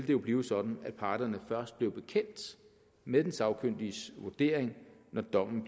jo blive sådan at parterne først blev bekendt med den sagkyndiges vurdering når dommen